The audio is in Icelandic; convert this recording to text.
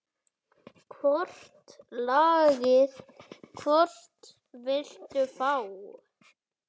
Hvort lagið, hvort viltu fá?